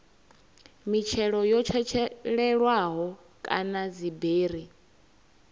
mitshelo yo tshetshelelwaho kana dziberi